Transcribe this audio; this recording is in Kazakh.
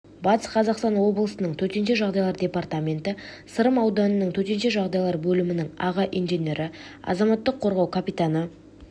батыс қазақстан облысының төтенше жағдайлар департаменті сырым ауданының төтенше жағдайлар бөлімінің аға инженері азаматтық қорғау капитаны